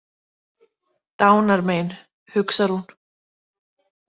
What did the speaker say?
Dánarmein, hugsar hún.